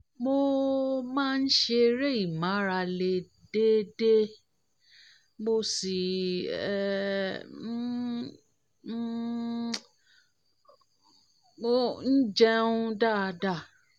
mo máa ń ṣeré ìmárale déédéé mo sì um ń um um jẹun um dáadáa